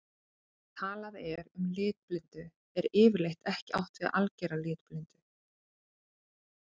Þegar talað er um litblindu er yfirleitt ekki átt við að algera litblindu.